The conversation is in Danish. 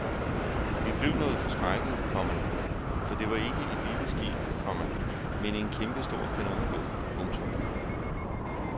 Vi blev noget forskrækkede, komma for det var ikke et lille skib, komma men en kæmpestor kanonbåd. punktum